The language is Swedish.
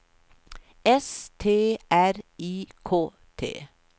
S T R I K T